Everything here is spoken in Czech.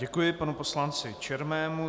Děkuji panu poslanci Černému.